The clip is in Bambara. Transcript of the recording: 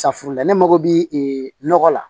Safuruninda ne mago bɛ nɔgɔ la